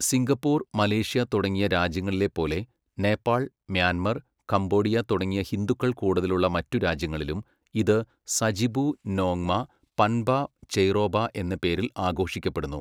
Singapore, Malaysia തുടങ്ങിയ രാജ്യങ്ങളിലെപ്പോലെ Nepal, Myanmar, Cambodia തുടങ്ങിയ ഹിന്ദുക്കൾ കൂടുതലുള്ള മറ്റു രാജ്യങ്ങളിലും, ഇത് സജിബു നോങ്മ പൻബ ചെയ്റോബ എന്ന പേരിൽ ആഘോഷിക്കപ്പെടുന്നു.